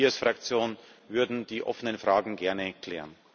Und wir als Fraktion würden die offenen Fragen gerne klären.